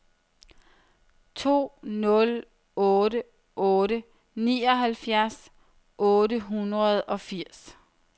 to nul otte otte nioghalvfjerds otte hundrede og firs